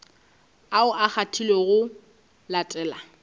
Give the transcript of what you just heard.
ao a kgethilwego go latela